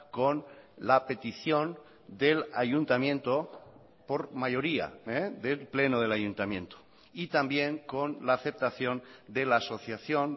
con la petición del ayuntamiento por mayoría del pleno del ayuntamiento y también con la aceptación de la asociación